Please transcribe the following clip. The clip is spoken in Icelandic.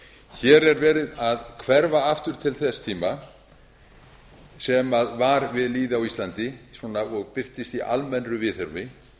hér er verið að hverfa aftur til þess tíma sem var við lýði á íslandi og birtist í almennu viðhorfi